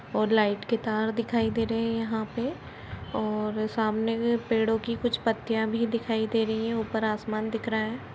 और लाईट के तार यहाँ पे और सामने कुछ पेड़ की कुछ पत्तिया भी दिखाई दे रही है | ऊपर आसमान दिख रहा है।